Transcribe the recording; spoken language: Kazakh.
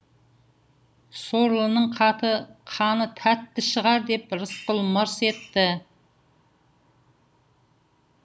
сорлының қаны тәтті шығар деп рысқұл мырс етті